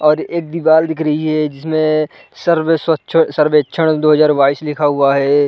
और एक दीवाल दिख रही है जिसमें सर्व स्वच्छ सर्वेक्षण दो हज़ार बाईस लिखा हुआ है।